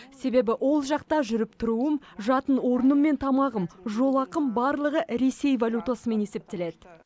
себебі ол жақта жүріп тұруым жатын орным мен тамағым жол ақым барлығы ресей валютасымен есептеледі